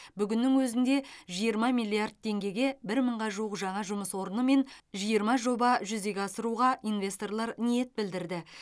бүгіннің өзінде жиырма миллиард теңгеге бір мыңға жуық жаңа жұмыс орнымен жиырма жоба жүзеге асыруға инвесторлар ниет білдірді